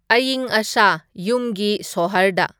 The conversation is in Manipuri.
ꯑꯏꯪ ꯑꯁꯥ ꯌꯨꯝꯒꯤ ꯁꯣꯍꯔꯗ